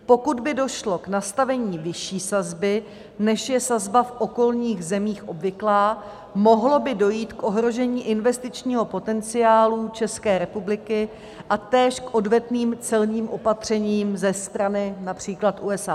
Pokud by došlo k nastavení vyšší sazby, než je sazba v okolních zemích obvyklá, mohlo by dojít k ohrožení investičního potenciálu České republiky a též k odvetným celním opatřením ze strany například USA.